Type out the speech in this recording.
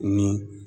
Ni